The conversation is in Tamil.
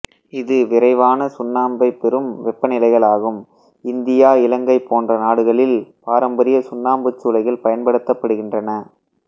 இதுவிரைவான சுண்ணம்பை பெறும் வெப்பநிலைகளாகும் இந்தியாஇலங்கை போன்ற நாடுகளில் பாரம்பரிய சுண்ணாம்புச் சூளைகள் பயன்படுத்தப்படுகின்றன